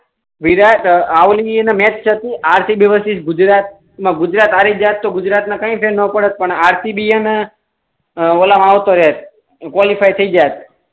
વિરાટ match હતુ RCB versus Gujarat એમાં ગુજરાત હારી જાત તો ગુજરાત ને કઈ ફેર ન પડે પણ આરસીબી એ ને ઓલા મા આવું તો રેત ક્વોલીફાય થઇ જાય